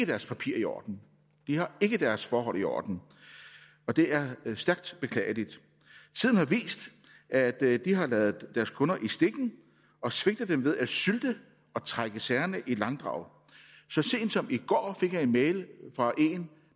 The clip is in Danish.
deres papirer i orden de har ikke deres forhold i orden og det er stærkt beklageligt tiden har vist at at de har ladet deres kunder i stikken og svigtet dem ved at sylte og trække sagerne i langdrag så sent som i går fik jeg en mail fra en